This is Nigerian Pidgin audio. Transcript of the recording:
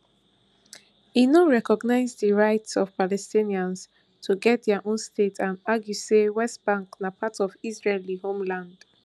e no recognise di right of palestinians to get dia own state and argue say west bank na part of israeli homeland